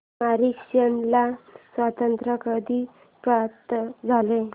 Mauritius ला स्वातंत्र्य कधी प्राप्त झाले